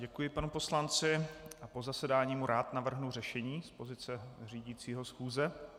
Děkuji panu poslanci a po zasedání mu rád navrhnu řešení z pozice řídícího schůze.